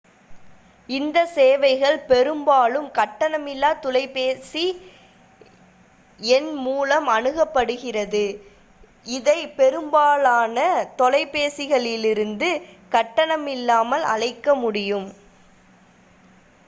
இந்த சேவைகள் பெரும்பாலும் கட்டணமில்லா தொலைபேசி எண் மூலம் அணுகப்படுகிறது இதை பெரும்பாலான தொலைபேசிகளிலிருந்து கட்டணமில்லாமல் அழைக்க முடியும்